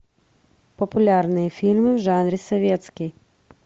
популярные фильмы в жанре советский